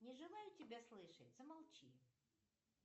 не желаю тебя слышать замолчи